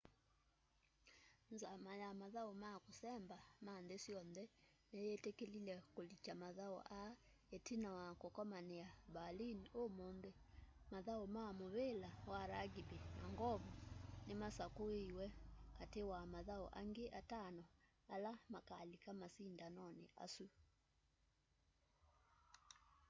nzama ya mathau ma kusemba ma nthi syonthe ni yitikile kulikya mathau aa itina wa kukomania berlin umunthi mathau ma muvila wa rugby na ng'ovu ni masakuiwe kati wa mathau angi atano ala makalika masindanoni asu